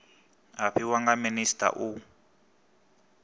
a fhiwa nga minisita u